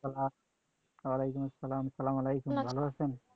ওয়ালাইকুম আসসালাম, স্লামালাইকুম ভালো আছেন?